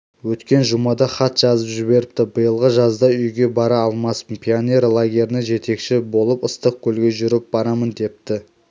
өткен жұмада хат жазып жіберіпті биылғы жазда үйге бара алмаспын пионер лагеріне жетекші болып ыстықкөлге жүріп барамын депті